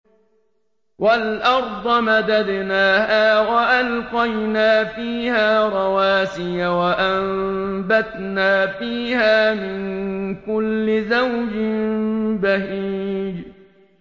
وَالْأَرْضَ مَدَدْنَاهَا وَأَلْقَيْنَا فِيهَا رَوَاسِيَ وَأَنبَتْنَا فِيهَا مِن كُلِّ زَوْجٍ بَهِيجٍ